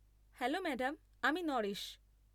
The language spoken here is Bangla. Hello madam. আমি নরেশ।